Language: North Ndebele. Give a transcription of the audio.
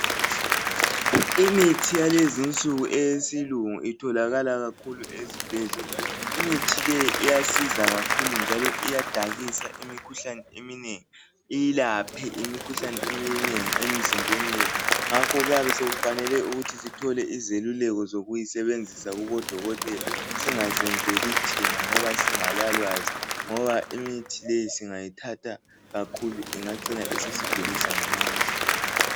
imiti yalezinsuku eyesilungu itholakala kakhulu ezibhedlela imithi le iyasiza kakhulu njalo iyadakisa imikhuhlane eminengi iyilaphe imikhuhlane eminengi emzimbeni yethu ngakho kuyabe sekufanele ukuthi sithole izeluleko zokuyisebenzisa kubo dokotela singazenzeli thina ngoba singalalwazi ngoba imithi le singayithata kakhulu ingycina sisigulisa ngamandla